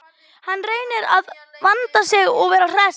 Hann reynir að vanda sig og vera hress.